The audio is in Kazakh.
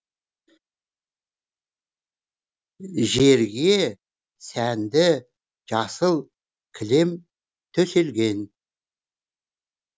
жерге сәнді жасыл кілем төселген